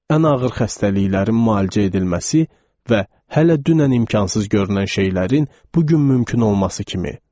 Ən ağır xəstəliklərin müalicə edilməsi və hələ dünən imkansız görünən şeylərin bu gün mümkün olması kimi.